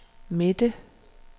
midte